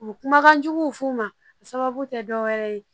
U bɛ kumakan juguw f'u ma a sababu tɛ dɔwɛrɛ ye